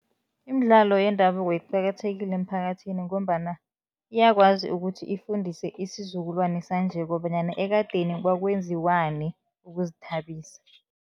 Imidlalo yendabuko iqakathekile emphakathini ngombana iyakwazi ukuthi ifundise isizukulwane sanje kobanyana ekadeni kwakwenziwani ukuzithabisa.